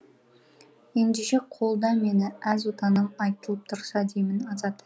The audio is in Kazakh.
ендеше қолда мені әз отаным айтылып тұрса деймін азат